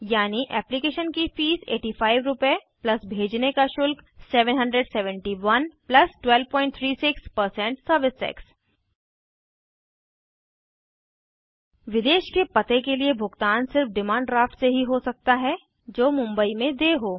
यानि application fees 8500 रुपए भेजने का शुल्क 77100 1236 सर्विस टैक्स विदेश के पते के लिए भुगतान सिर्फ डिमांड ड्राफ्ट से ही हो सकता है जो मुंबई में देय हो